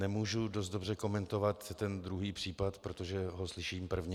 Nemůžu dost dobře komentovat ten druhý případ, protože ho slyším prvně.